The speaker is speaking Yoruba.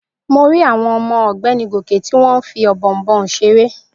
Mo rí àwọn ọmọ ọ̀gbẹ́ni Gòkè tí wọ́n fí Ọ̀bọ̀ọ̀nbọọ̀n seré